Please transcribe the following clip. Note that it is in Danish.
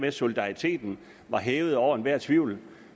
at solidariteten var hævet over enhver tvivl